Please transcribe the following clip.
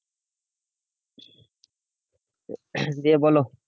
দিয়ে বোলো।